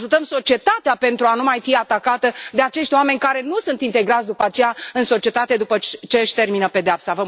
Ajutăm societatea pentru a nu mai fi atacată de acești oameni care nu sunt integrați după aceea în societate, după ce își termină pedeapsa.